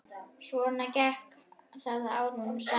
Svona gekk það árum saman.